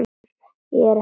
Er ég ekki frjáls?